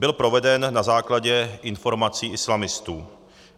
Byl proveden na základě informací islamistů.